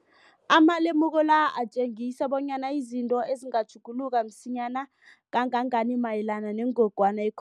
Amalemuko la atjengisa bonyana izinto zingatjhuguluka msinyana kangangani mayelana nengogwana i-CO